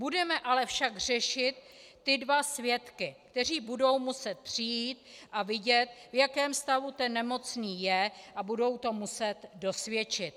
Budeme ale však řešit ty dva svědky, kteří budou muset přijít a vidět, v jakém stavu ten nemocný je, a budou to muset dosvědčit.